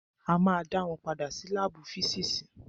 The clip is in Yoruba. A ma dá wọn padà sí lábù físìsì.